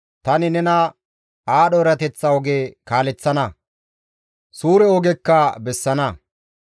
Tani nena aadho erateththa oge kaaleththana; suure ogekka bessana.